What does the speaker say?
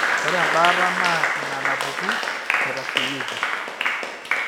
Ore embaata naa inaapuku naitasheiki.